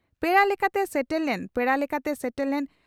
ᱯᱮᱲᱟ ᱞᱮᱠᱟᱛᱮ ᱥᱮᱴᱮᱨ ᱞᱮᱱ ᱯᱮᱲᱟ ᱞᱮᱠᱟᱛᱮ ᱥᱮᱴᱮᱨ ᱞᱮᱱ